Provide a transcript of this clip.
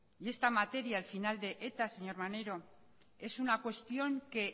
y esta materia el final de eta señor maneiro es una cuestión que